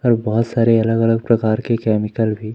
और बहोत सारे अलग अलग प्रकार के कैमिकल भी--